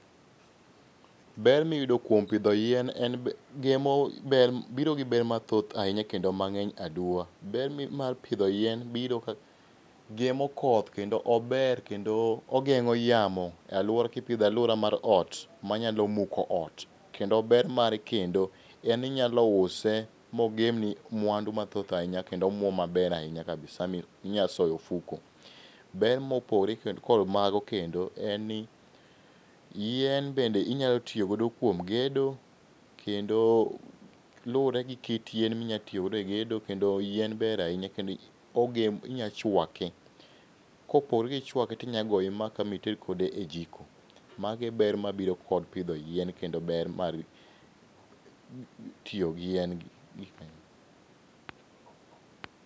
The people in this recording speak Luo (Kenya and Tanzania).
Ber miyudo kuom pidho yien en gemo biro gi ber mathoth ahinya kendo mang'eny aduwa. Ber mar pidho yien biro gemo koth kendo ober kendo ogeng'o yamo e aluora kipidhe e aluora mar ot manyalo muko ot. Kendo ber mare kendo en ni inyalo use mogem ni mwandu mathoth ahinya kendo omuom maber ahinya kabisa minyalo soyo e ofuko. Ber mopogre kendo kod mago kendo en ni, yien bende inyalo tiyo godo kuom gedo, kendo luwore gi kit yien minyalo tiyo godo egedo kendo yien ber ahinya kendo inyalo chwake. Kopogore gi chwake to inyalo goye maka ma ited kode e jiko. Mago e ber mabiro kod pidho yien kendo ber mar tiyo gi yien.